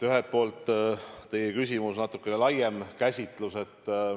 Ühelt poolt teie küsimuse natuke laiem käsitlus.